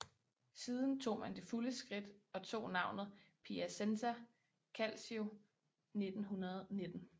Siden tog man det fulde skridt og tog navnet Piacenza Calcio 1919